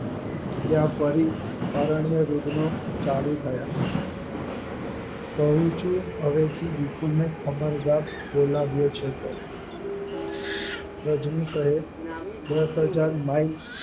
ત્યાં ફરી અરણ્ય યુગનો ચાલુ થયા કહું છું હવેથી વિપુલને ખબરદાર બોલાવ્યો છે તો રાજની કહે દસ હજાર mile